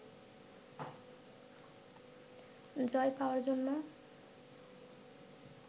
জয় পাওয়ার জন্য